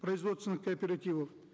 производственных кооперативов